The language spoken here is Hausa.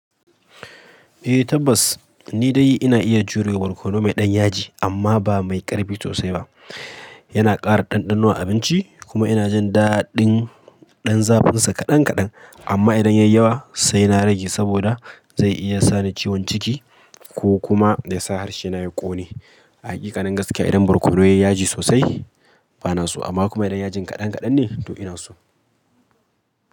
Eh tabbas, ni dai ina iya jurewa barkono mai ɗan yaji amma ba mai ƙarfi sosai ba. Yana ƙara ɗanɗano a abinci kuma ina jin daɗin ɗan zafin sa kaɗan kaɗan. Amma idan yai yawa sai na rage saboda zai iya sani ciwon ciki ko kuma yasa harshe na ya ƙone. Hakikanin gaskiya idan barkono yayi yaji sosai bana so amma kuma idan yajin kaɗan kaɗan ne to ina so.